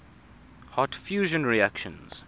hot fusion reactions